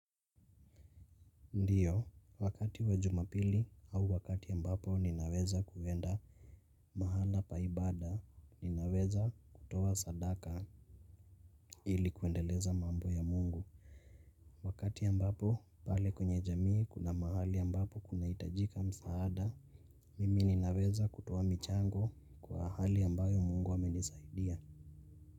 Ndiyo, wakati wa Jumapili au wakati ambapo ninaweza kuenda mahala pa ibada ninaweza kutoa sadaka ili kuendeleza mambo ya Mungu. Wakati ambapo pale kwenye jamii kuna mahali ambapo kunahitajika msaada mimi ninaweza kutoa michango kwa hali ambayo Mungu amenisaidia.